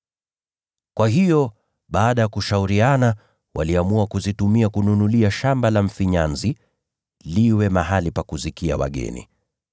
Kwa hiyo baada ya kushauriana, waliamua kuzitumia kununulia shamba la mfinyanzi, liwe mahali pa kuzikia wageni.